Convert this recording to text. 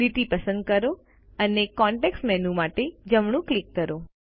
લીટી પસંદ કરો અને કોન્ટેક્ષ મેનૂ માટે જમણું ક્લિક કરો